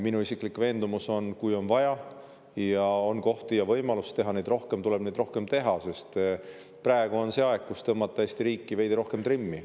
Minu isiklik veendumus on, et kui on vaja ja on kohti ja võimalusi teha neid rohkem, tulebki neid rohkem teha, sest praegu on see aeg, kui tuleb Eesti riiki veidi rohkem trimmi tõmmata.